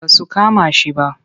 Ba su kama shi ba.